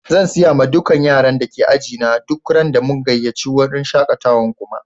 Zan siya ma dukan yaran da ke ajina duk ran da mun gayace wurin shakatawan kuma.